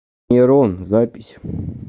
нейрон запись